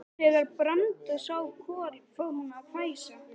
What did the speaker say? Þegar Branda sá Kol fór hún að hvæsa.